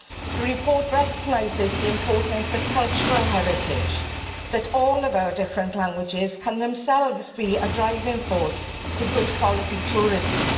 The report recognises the importance of cultural heritage in that all of our different languages can themselves be a driving force for good quality tourism.